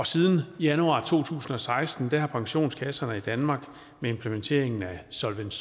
siden januar to tusind og seksten har pensionskasserne i danmark med implementeringen af solvens